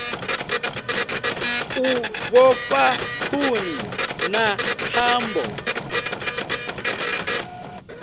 u vhofha khuni na thambo